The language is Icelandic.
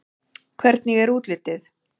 Hvernig er útlitið?